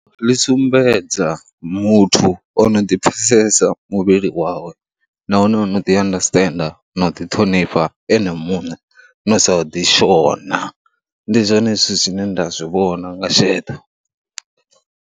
Ḽi sumbedza muthu o no ḓipfhesesa muvhili wawe nahone o no ḓiandasiṱena na u ḓiṱhonifha ene muṋe, no sa u ḓishona. Ndi zwone zwithu zwine nda zwi vhona nga sheḓo.